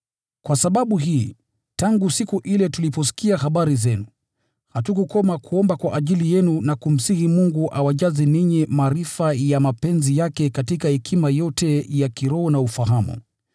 Kwa sababu hii, tangu siku ile tuliposikia habari zenu, hatujakoma kuomba kwa ajili yenu na kumsihi Mungu awajaze ninyi maarifa ya mapenzi yake katika hekima yote ya kiroho na ufahamu.